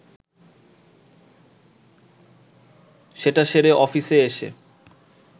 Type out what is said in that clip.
সেটা সেরে অফিসে এসে